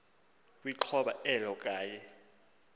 kwixhoba elo kwaye